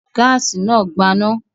Gáásì náà gbaná.